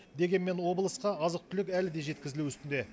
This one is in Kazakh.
дегенмен облысқа азық түлік әлі де жеткізілу үстінде